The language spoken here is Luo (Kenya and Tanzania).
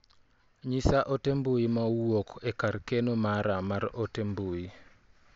Nyisa ote mbui ma owuok e kar keno mara mar ote mbui.